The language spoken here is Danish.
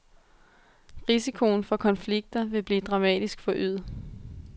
Risikoen for konflikter vil blive dramatisk forøget.